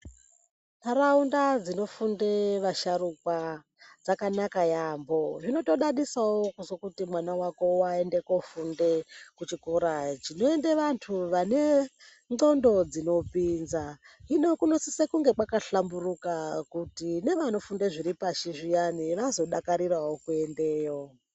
Ntaraunda dzinofunde vasharukwa dzakanaka yaampho. Zvinotodadisawo kuzwe kuti mwana wako waende koofunde kuchikora chinoende vantu vane ndxondo dzinopinza. Hino kunosise kunge kwakahlamburuka kuti nevanofunde zviri pashi zviyani kuti vazodakarirawo kuendayo.